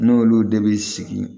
N'olu de bɛ sigi